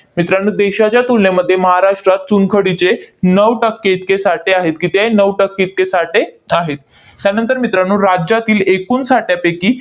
मित्रांनो, देशाच्या तुलनेमध्ये महाराष्ट्रात चुनखडीचे नऊ टक्के इतके साठे आहेत. किती आहेत? नऊ टक्के इतके साठे आहेत. त्यानंतर मित्रांनो, राज्यातील एकूण साठ्यापैकी